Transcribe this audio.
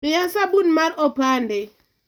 miya sabun mar opande